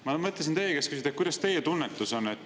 Ma mõtlesin teie käest küsida, milline teie tunnetus on.